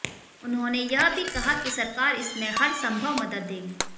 उन्होंने यह भी कहा कि सरकार इसमें हरसंभव मदद देगी